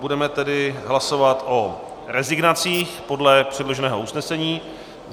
Budeme tedy hlasovat o rezignacích podle předloženého usnesení.